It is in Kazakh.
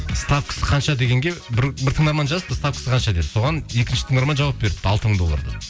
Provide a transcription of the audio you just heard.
ставкасы қанша дегенге бір тыңдарман жазыпты ставкасы қанша деп соған екінші тыңдарман жауап беріпті алты мың доллар деп